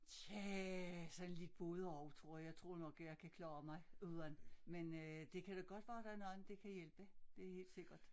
Tja sådan lidt både og tror jeg jeg tror nok at jeg kan klare mig uden men øh det kan da godt være der er nogen det kan hjæpe det er helt sikkert